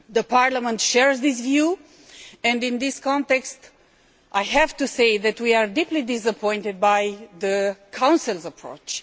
Parliament shares this view and, in this context, I have to say that we are deeply disappointed by the Council's approach.